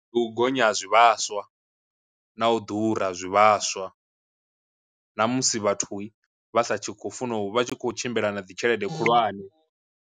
U gonya ha zwivhaswa, na u ḓura zwivhaswa, na musi vhathu vha sa khou funa u vha tshi kho tshimbila na dzi tshelede khulwane.